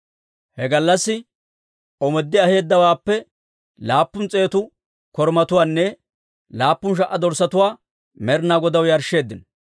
He gallassi omooddi aheedawaappe laappun s'eetu korumatuwaanne laappun sha"a dorssatuwaa Med'inaa Godaw yarshsheeddino.